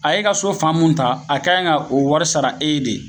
A ye ka so faamu ta a kanɲi ka o wari sara e ye de